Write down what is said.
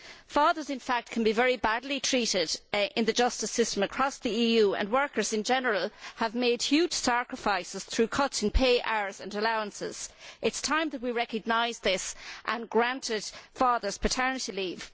Fathers, in fact, can be very badly treated in the justice system across the EU, and workers in general have made huge sacrifices through cuts in pay, hours and allowances. It is time that we recognised this and granted fathers paternity leave.